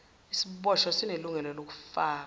isiboshwa sinelungelo lokufaka